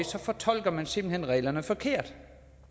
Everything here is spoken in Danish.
fortolker man simpelt hen reglerne forkert